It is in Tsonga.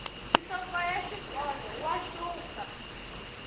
nhloko ya xikolo wa hlupha